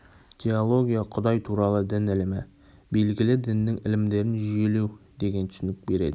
теология құдай туралы дін ілімі белгілі діннің ілімдерін жүйелеу деген түсінік береді